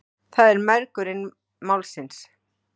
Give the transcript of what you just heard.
Það er mergurinn málsins.